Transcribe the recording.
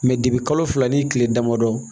kalo fila ni kile damadɔ